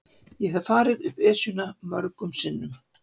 Ég hef farið upp Esjuna mörgum sinnum.